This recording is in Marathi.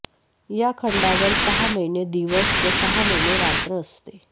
या खंडावर सहा महिने दिवस व सहा महिने रात्र असते